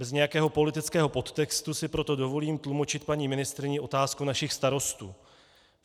Bez nějakého politického podtextu si proto dovolím tlumočit paní ministryni otázku našich starostů.